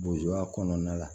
kɔnɔna la